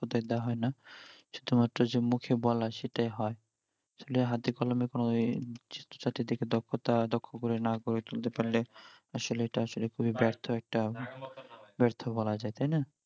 দেওয়া হয় না শুধুমাত্র যে মুখে বলা সেটাই হই আসলে হাতে কলমে কোনও দক্ষতা দক্ষ করে না তুলতে না পারলে আসলে এটা আসলে এটা খুবই ব্যার্থ একটা ব্যার্থ বলা যাই তাই না